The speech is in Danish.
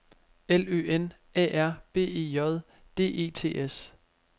L Ø N A R B E J D E T S